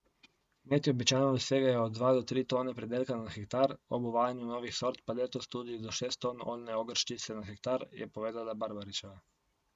Kmetje običajno dosegajo od dva do tri tone pridelka na hektar, ob uvajanju novih sort pa letos tudi do šest ton oljne ogrščice na hektar, je povedala Barbaričeva.